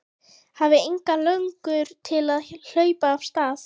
Hafði enga löngun til að hlaupa af stað.